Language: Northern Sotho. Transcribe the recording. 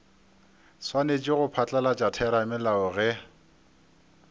swanetše go phatlalatša theramelao ge